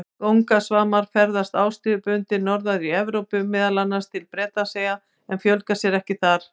Kóngasvarmar ferðast árstíðabundið norðar í Evrópu, meðal annars til Bretlandseyja, en fjölga sér þar ekki.